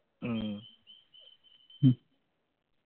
ഉം